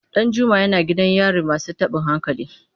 Danjuma yana gidan yarin masu tabin hankali.